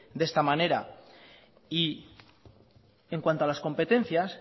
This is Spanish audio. de esta manera y en cuanto a las competencias